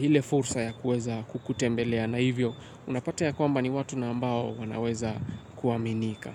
ile fursa ya kuweza kukutembelea. Na hivyo, unapata ya kwamba ni watu na ambao wanaweza kuaminika.